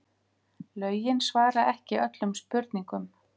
Lögin svara ekki öllum spurningum